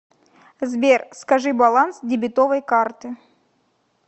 сбер скажи баланс дебетовой карты